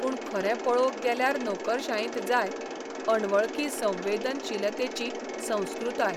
पूण खरें पळोवंक गेल्यार नोकरशायेंत जाय 'अणवळखी संवेदनशीलते'ची संस्कृताय.